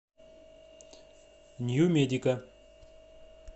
нью медика